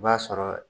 I b'a sɔrɔ